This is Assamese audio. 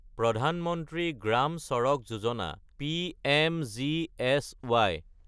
প্ৰধান মন্ত্ৰী গ্ৰাম ছাদাক যোজনা (পিএমজিএছই)